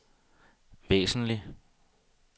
væsentligt